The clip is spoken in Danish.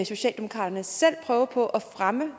socialdemokraterne selv prøver på at fremme